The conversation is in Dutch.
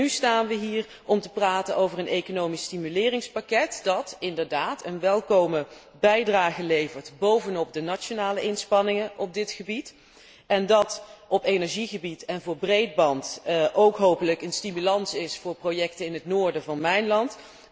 En nu staan we hier om te praten over een economisch stimuleringspakket, dat inderdaad een welkome bijdrage levert bovenop de nationale inspanningen op dit gebied, en dat op energiegebied en voor breedband ook hopelijk een stimulans is voor projecten in het noorden van mijn land.